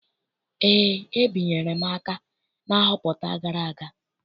Eé, ebinyere m aka na nhọpụta gara aga.